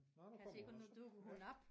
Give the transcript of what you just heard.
Nåh nu kommer hun og så ja